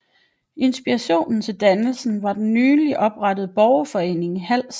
Inspirationen til dannelsen var den nyligt oprettede borgerforening i Hals